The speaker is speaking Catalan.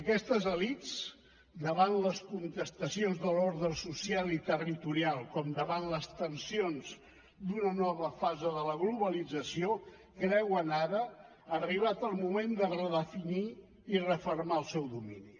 aquestes elits davant les contestacions de l’ordre social i territorial com davant les tensions d’una nova fase de la globalització creuen ara arribat el moment de redefinir i refermar el seu domini